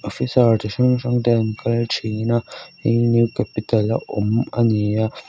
officer chi hrang hrang te an kal thin a hei hi new capital a awm a ni a.